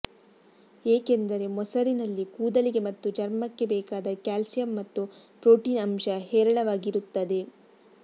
ಏಕೆಂದರೆ ಮೊಸರಿನಲ್ಲಿ ಕೂದಲಿಗೆ ಮತ್ತು ಚರ್ಮಕ್ಕೆ ಬೇಕಾದ ಕ್ಯಾಲ್ಸಿಯಂ ಮತ್ತು ಪ್ರೋಟೀನ್ ಅಂಶ ಹೇರಳವಾಗಿರುತ್ತದೆ